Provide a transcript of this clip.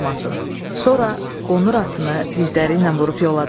Sonra qonur atını dizləriylə vurub yola düşdü.